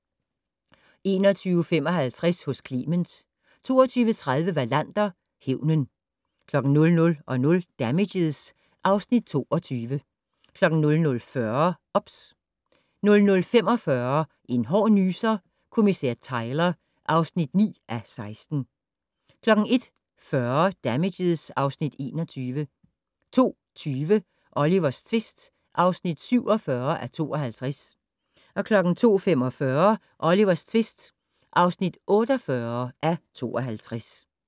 21:55: Hos Clement 22:30: Wallander: Hævnen 00:00: Damages (Afs. 22) 00:40: OBS 00:45: En hård nyser: Kommissær Tyler (9:16) 01:40: Damages (Afs. 21) 02:20: Olivers tvist (47:52) 02:45: Olivers tvist (48:52)